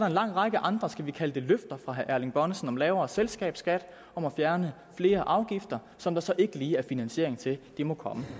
en lang række andre skal vi kalde det løfter fra herre erling bonnesen om lavere selskabsskatter om at fjerne flere afgifter som der så ikke lige er finansiering til det må komme